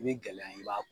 I bɛ gɛlɛya i b'a